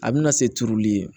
A bɛna se turuli ye